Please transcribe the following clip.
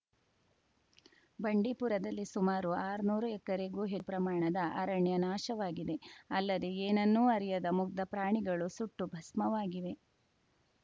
ಬಂಡೀಪುರದಲ್ಲಿ ಸುಮಾರು ಆರ್ನೂರು ಎಕರೆಗೂ ಹೆ ಪ್ರಮಾಣದ ಅರಣ್ಯ ನಾಶವಾಗಿದೆ ಅಲ್ಲದೆ ಏನನ್ನೂ ಅರಿಯದ ಮುಗ್ಧ ಪ್ರಾಣಿಗಳು ಸುಟ್ಟು ಭಸ್ಮವಾಗಿವೆ